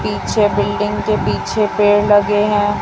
पीछे बिल्डिंग के पीछे पेड़ लगे हैं।